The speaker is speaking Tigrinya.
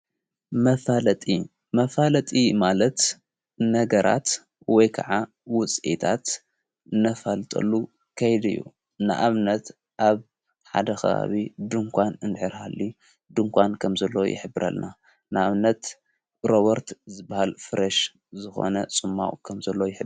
መፋለጢ መፋለጢ ማለት ነገራት ወይ ከዓ ውፅአታት ነፋልጠሉ ከይድዩ ንኣብነት ኣብ ሓደ ኽባብ ድንቋን እንድኅርሃሊ ድንቋን ከም ዘለ ይኅብረልና ንኣብነት ሮበርት ዘበሃል ፍረሽ ዝኾነ ፁማው ከም ዘሎ ይፍለጥ።